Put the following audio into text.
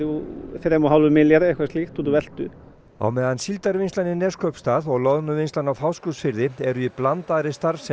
þremur og hálfum milljarði eitthvað slíkt út úr veltu á meðan Síldarvinnslan í Neskaupstað og loðnuvinnslan á Fáskrúðsfirði eru í blandaðri starfsemi